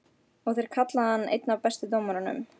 Og þeir kalla hann einn af bestu dómurunum?